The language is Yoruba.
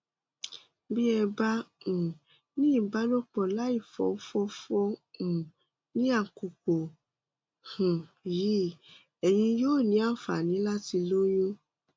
bí ẹ bá um ní ìbálòpọ láìfòfòfò um ní àkókò um yìí ẹyin yóò ní àǹfààní láti lóyún